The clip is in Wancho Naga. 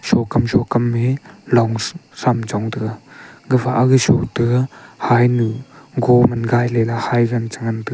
shokam shokam mey long sam chongtaga gafa ag shota hainu goman gailey la hai chi nga ngantaga.